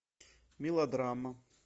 мелодрама